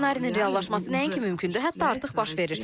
Bu ssenarinin reallaşması nəinki mümkündür, hətta artıq baş verir.